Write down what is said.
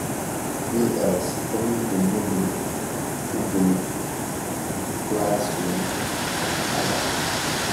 VLEs komite Moodle, GoogleClassroom ak alak